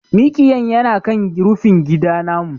Miƙiyan yana kan rufingida namu.